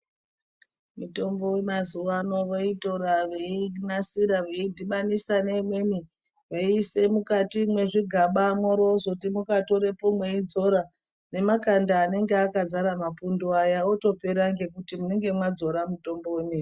Mitombo ye mazuva ano voitora vei nasira veyi dhibanisa ne imweni veyi ise mukati mwe zvigaba mwori wozoti mukatorepo mweidzora ne makanda anenge akazara mapundu aya otopera ngekuti munenge mwadzora mitombo yemene.